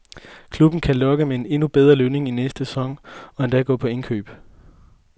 Klubben kan lokke med endnu bedre lønninger i næste sæson og endda gå på indkøb.